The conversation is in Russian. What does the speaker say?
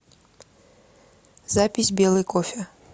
запись белый кофе